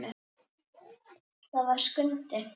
Það var Skundi.